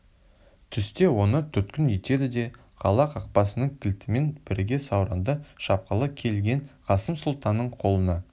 түсте оны тұтқын етеді де қала қақпасының кілтімен бірге сауранды шапқалы келген қасым сұлтанның қолына